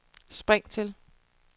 spring til